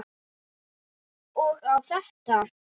Og á ég þetta?